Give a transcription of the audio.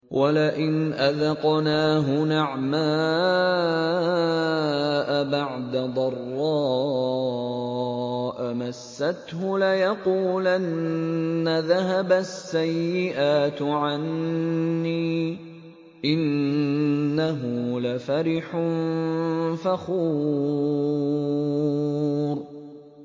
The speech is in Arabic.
وَلَئِنْ أَذَقْنَاهُ نَعْمَاءَ بَعْدَ ضَرَّاءَ مَسَّتْهُ لَيَقُولَنَّ ذَهَبَ السَّيِّئَاتُ عَنِّي ۚ إِنَّهُ لَفَرِحٌ فَخُورٌ